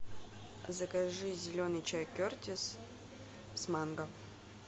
закажи зеленый чай кертис с манго